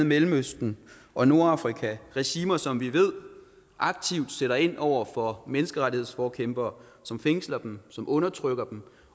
mellemøsten og nordafrika regimer som vi ved aktivt sætter ind over for menneskerettighedsforkæmpere som fængsler dem som undertrykker dem